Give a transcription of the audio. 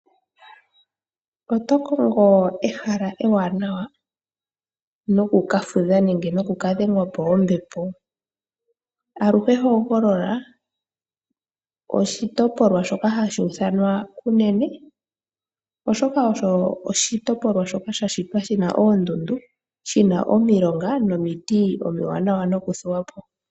Oto kongo ehala ewanawa noku ka fudha nenge noku ka dhengwa po kombepo? Aluhe hogolola oshitopolwa shoka hashi ithanwa Kunene, oshoka osho oshitopolwa shoka sha shitwa shi na oondundu, shi na omilonga nomiti omiwanawa nokuthuwa po.